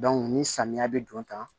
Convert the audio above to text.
ni samiya bɛ don tan